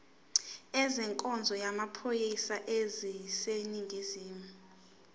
ezenkonzo yamaphoyisa aseningizimu